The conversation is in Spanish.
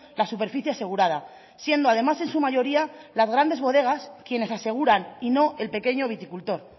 la superficie asegurada siendo además en su mayoría las grandes bodegas quienes aseguran y no el pequeño viticultor